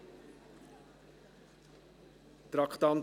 Ich gebe dem Kommissionssprecher Peter Sommer das Wort.